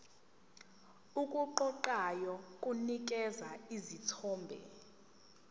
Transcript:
okuqoqayo kunikeza isithombe